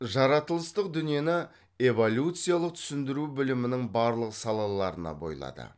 жаратылыстық дүниені эволюциялық түсіндіру білімінің барлық салаларына бойлады